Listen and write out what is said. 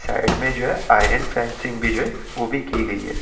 Side में जो है आयरन फेंसिंग भी जो है वो भी की गयी है।